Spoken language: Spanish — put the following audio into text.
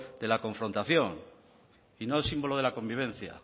de la confrontación y no símbolo de la convivencia